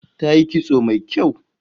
Tayi kitso mai kyau